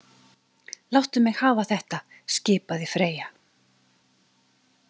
Láttu mig hafa þetta, skipaði Freyja.